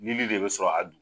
Lili de bɛ sɔrɔ a